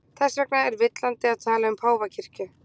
Þess vegna er villandi að tala um páfakirkju.